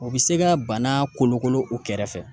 O bi se ka bana kolokolo u kɛrɛfɛ